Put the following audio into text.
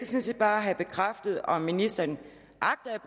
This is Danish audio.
set bare have bekræftet om ministeren agter at